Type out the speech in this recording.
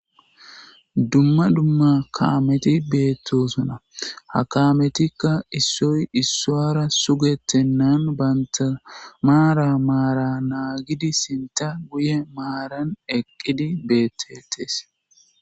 Dumma dumma kaameti beettosuna ha kaametikka issoy issoara sugettennan banta maara maara naa gidi sinta guye maaran eqqidi beettettees.